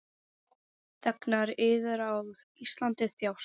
Þegnar yðar á Íslandi þjást.